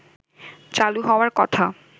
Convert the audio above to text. চালু হওয়ার কথা